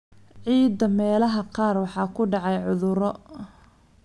Ciidda meelaha qaar waxaa ku dhacay cudurro.